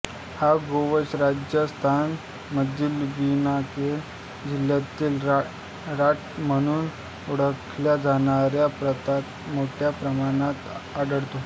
हा गोवंश राजस्थान मधील बिकानेर जिल्ह्यातील राठ म्हणून ओळखल्या जाणाऱ्या प्रांतात मोठ्या प्रमाणात आढळतो